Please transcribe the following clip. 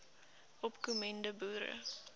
opko mende boere